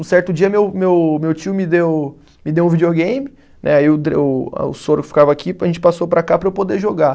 Um certo dia meu meu, meu tio me deu, me deu um videogame, né aí o dre, o o soro ficava aqui, a gente passou para cá para eu poder jogar.